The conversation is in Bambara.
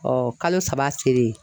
Ɔ kalo saba selen.